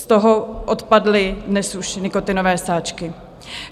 Z toho odpadly dnes už nikotinové sáčky.